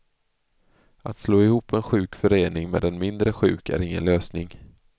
Att slå ihop en sjuk förening med en mindre sjuk är ingen lösning.